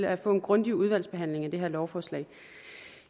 at få en grundig udvalgsbehandling af det her lovforslag